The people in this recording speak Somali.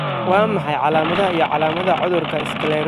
Waa maxay calaamadaha iyo calaamadaha cudurka sclerosis, nooca lawa?